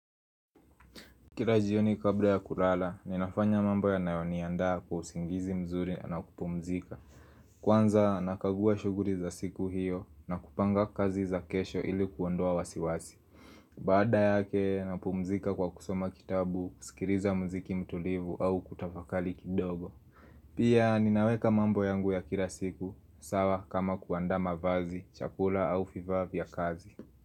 Kila jioni kabla ya kulala, ninafanya mambo yanayoniandaa kwa usingizi mzuri na kupumzika Kwanza, nakagua shughuli za siku hiyo na kupanga kazi za kesho ili kuondoa wasiwasi Baada yake, napumzika kwa kusoma kitabu, kusikiliza muziki mtulivu au kutafakari kidogo Pia, ninaweka mambo yangu ya kila siku sawa kama kuanda mavazi, chakula au vifaa vya kazi.